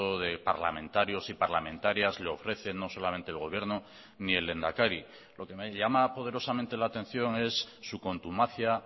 de parlamentarios y parlamentarias le ofrecen no solamente el gobierno ni el lehendakari lo que me llama poderosamente la atención es su contumacia